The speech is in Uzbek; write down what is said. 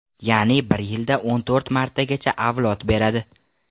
Ya’ni bir yilda o‘n to‘rt martagacha avlod beradi.